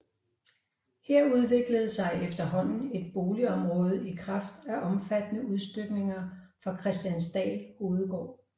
Her udviklede sig efterhånden et boligområde i kraft af omfattende udstykninger fra Kristiansdal Hovedgård